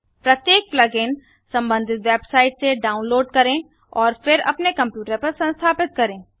प्रत्येक plug in संबंधित website से डाउनलोड़ करें और फिर अपने कंप्यूटर पर संस्थापित करें